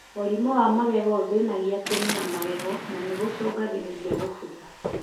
Mũrimũ wa magego ũthĩnagia kĩni na magego na nĩ gũcungagĩrĩria gũbutha.